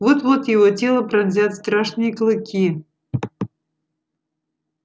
вот-вот его тело пронзят страшные клыки